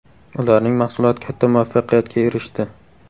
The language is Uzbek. Ularning mahsuloti katta muvaffaqiyatga erishdi.